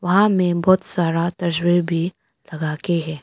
बाहर में बहुत सारा तस्वीर भी लगाके है।